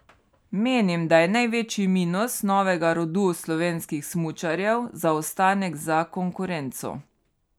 Menim, da je največji minus novega rodu slovenskih smučarjev zaostanek za konkurenco.